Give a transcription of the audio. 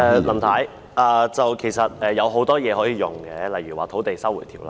林太，其實有很多方法可以用，例如《收回土地條例》。